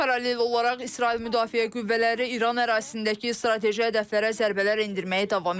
Paralel olaraq İsrail müdafiə qüvvələri İran ərazisindəki strateji hədəflərə zərbələr endirməyi davam etdirir.